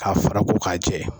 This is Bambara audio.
Ka fara ko ka jɛ.